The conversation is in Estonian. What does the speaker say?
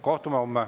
Kohtume homme.